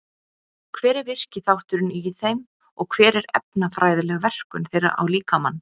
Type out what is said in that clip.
Hver er virki þátturinn í þeim og hver er efnafræðileg verkun þeirra á líkamann?